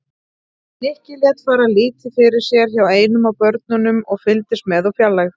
Nikki lét fara lítið fyrir sér hjá einum af börunum og fylgdist með úr fjarlægð.